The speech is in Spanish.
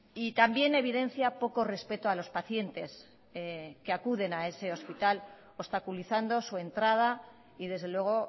y también evidencia poco respeto a los pacientes que acuden a ese hospital obstaculizando su entrada y desde luego